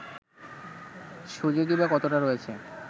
সুযোগই বা কতটা রয়েছে